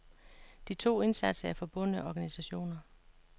De to instanser er forbundne organisationer.